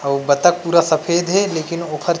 अउ बतख पूरा सफ़ेद हे लेकिन ओ खर